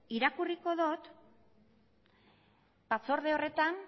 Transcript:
irakurriko dut batzorde horretan